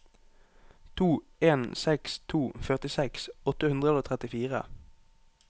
to en seks to førtiseks åtte hundre og trettifire